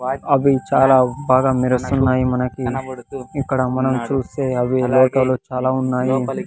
అవి చాలా బాగా మిరుస్తున్నాయి మనకి ఇక్కడ మనం చూస్తే అవి లోటోలో చాలా ఉన్నాయి.